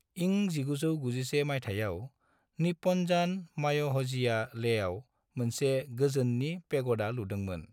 इं 1991 माइथायाव, निप्पनजान माय'ह'जीआ लेहआव मोनसे गोजोननि पेग'डा लुदोंमोन।